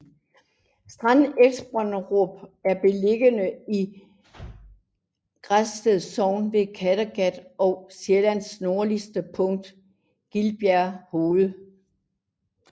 Strand Esbønderup er beliggende i Græsted Sogn ved Kattegat og Sjællands nordligste punkt Gilbjerg Hoved